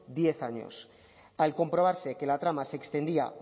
diez años al comprobarse que la trama se extendía